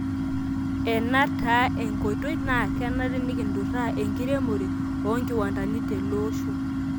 Ena taaa enkkoitoi naa kenare nikinturaa enkiremore oonkiwandani teloosho.